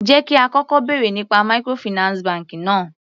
Jẹ́ kí á kọ́kọ́ bèrè nípa microfinance bank náà.